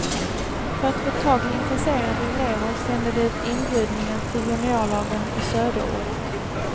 För att få tag i intresserade elever sände de ut inbjudningar till juniorlagen i söderort.